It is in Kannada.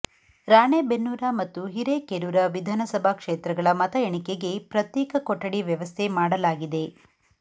ರಾಣೆಬೆನ್ನೂರ ಮತ್ತು ಹಿರೇಕೆರೂರ ವಿಧಾನಸಭಾ ಕ್ಷೇತ್ರಗಳ ಮತ ಎಣಿಕೆಗೆ ಪ್ರತ್ಯೇಕ ಕೊಠಡಿ ವ್ಯವಸ್ಥೆ ಮಾಡಲಾಗಿದೆ